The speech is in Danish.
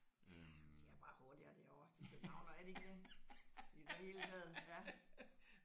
Ja de er bare hurtigere derovre de Københavnere er de ikke det? I det hele taget ja